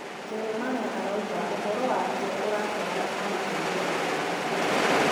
Jeremiah arauga ũhoro wake ũratwarana na gũteithia andũ angĩ